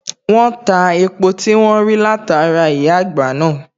wón ta epo tí wón rí látara ìyá àgbà náà